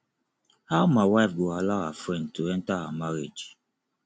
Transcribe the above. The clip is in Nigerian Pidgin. how my wife go allow her friend to enter her marriage